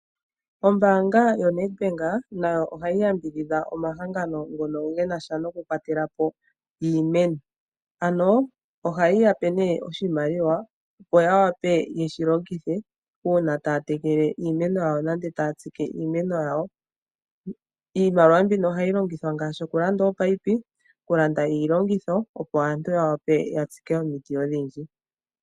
Ombaanga yo Nedbank nayo ohayi yambidhidha omahangano ngono genasha noku kwatelpo iimeno ano ohayi yape nee oshimaliwa opo yape yeshilongithe uuna taa tekele nenge taa tsike iimeno yawo. Iimaliwa mbino ohayi longithwa ngaashi okulanda oominino okulanda iilongitho opo aantu yawape okutsika omiti ondhindji.